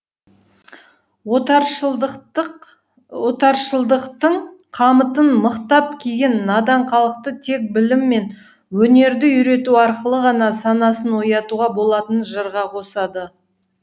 отаршылдықтың қамытын мықтап киген надан халықты тек білім мен өнерді үйрету арқылы ғана санасын оятуға болатынын жырға қосады